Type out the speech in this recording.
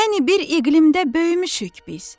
Yəni bir iqlimdə böyümüşük biz.